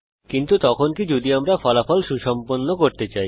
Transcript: কিন্তু তখন কি যদি আমরা ফলাফল সুসম্পন্ন করতে চাই